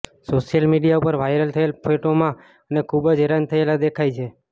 social media ઉપર viral થયેલ ફેટોમાં બને ખૂબ જ હેરાન થયેલા દેખાય છે